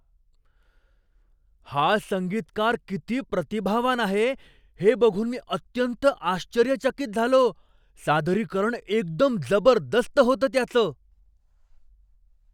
हा संगीतकार किती प्रतिभावान आहे हे बघून मी अत्यंत आश्चर्यचकित झालो. सादरीकरण एकदम जबरदस्त होतं त्याचं.